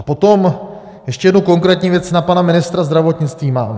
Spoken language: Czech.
A potom ještě jednu konkrétní věc na pana ministra zdravotnictví mám.